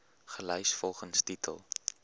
gelys volgens titel